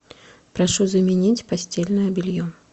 прошу заменить постельное белье